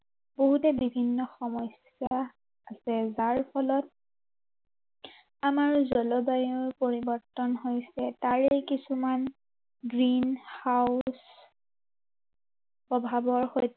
বহুতে বিভিন্ন সমস্য়া আছে। যাৰ ফলত আমাৰ জলবায়ুৰ পৰিৱৰ্তন হৈছে। তাৰেই কিছুমান green house প্ৰভাৱৰ